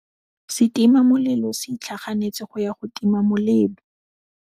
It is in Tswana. Setima molelô se itlhaganêtse go ya go tima molelô.